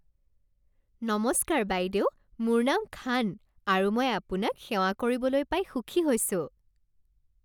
নমস্কাৰ বাইদেউ, মোৰ নাম খান আৰু মই আপোনাক সেৱা কৰিবলৈ পাই সুখী হৈছোঁ।